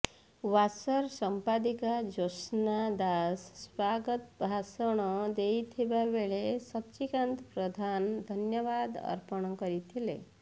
ୱସ୍ବର ସମ୍ପାଦିକା ଜ୍ୟୋତ୍ସ୍ନା ଦାସ ସ୍ବାଗତ ଭାଷଣ ଦେଇଥିବା ବେଳେ ସଚ୍ଚିକାନ୍ତ ପ୍ରଧାନ ଧନ୍ୟବାଦ ଅର୍ପଣ କରିଥିଲେ